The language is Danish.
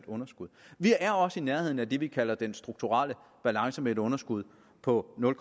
underskud vi er også i nærheden af det vi kalder den strukturelle balance med et underskud på nul